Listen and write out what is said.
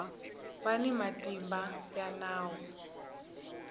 va ni matimba ya nawu